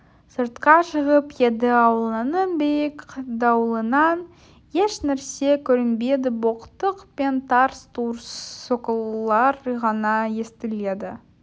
сыртқа шығып еді ауланың биік дуалынан ешнәрсе көрінбеді боқтық пен тарс-тұрс соққылар ғана естіледі